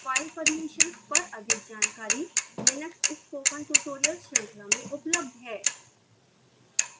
file permissions पर अधिक जानकारी लिनक्स spoken tutorial श्रृंखला में उपलब्ध है